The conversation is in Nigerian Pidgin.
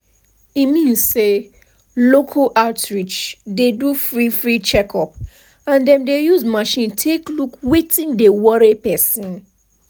e mean say local outreach dey do free free checkup and dem use machine take look wetin dey worry person.